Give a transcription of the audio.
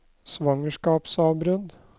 svangerskapsavbrudd